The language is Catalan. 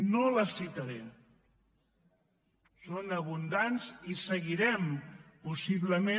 no les citaré són abundants i seguirem possiblement